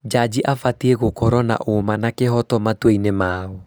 Jaji abatiĩ gũkorwo na ũma na kĩhoto matuainĩ mao